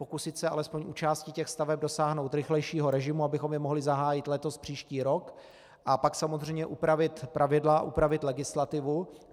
Pokusit se alespoň u části těch staveb dosáhnout rychlejšího režimu, abychom je mohli zahájit letos, příští rok, a pak samozřejmě upravit pravidla, upravit legislativu.